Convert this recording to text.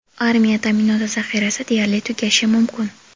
armiya ta’minoti zaxirasi deyarli tugashi mumkin.